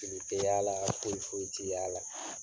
Juru tɛ y'a la foyi foyi tɛ y'a la.